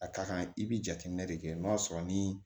A ka kan i bi jateminɛ de kɛ n'o y'a sɔrɔ ni